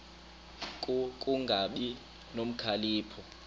ku kungabi nokhalipho